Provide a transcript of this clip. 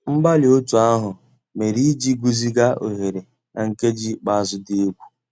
Mgbàlí ótú àhụ́ mérè ìjì gùzíghà óghéré ná nkèjí ikpéázụ́ dị́ égwu.